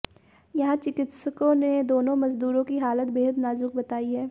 यहां चिकित्सकों ने दोनों मजदूरों की हालत बेहद नाजुक बताई है